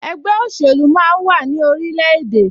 Ẹgbẹ́ òṣèlú máa ń wà ní orilẹ̀-èdè